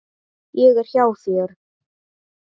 Ég er hjá þér.